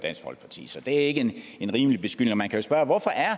dansk folkeparti så det er ikke en rimelig beskyldning og man kan spørge